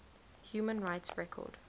human rights record